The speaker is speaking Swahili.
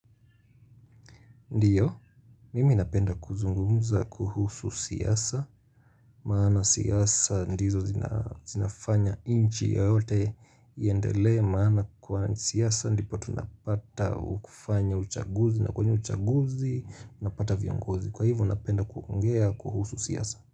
Ndiyo, mimi napenda kuzungumza kuhusu siasa Maana siasa, ndizo zinafanya nchi yoyote iendele Maana kuwa siasa, ndipo tunapata kufanya uchaguzi na kwenye uchaguzi, na pata viongozi Kwa ivo napenda kuongea kuhusu siasa.